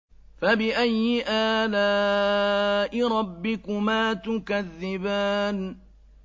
فَبِأَيِّ آلَاءِ رَبِّكُمَا تُكَذِّبَانِ